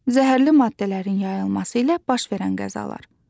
Zəhərli maddələrin yayılması ilə baş verən qəzalar.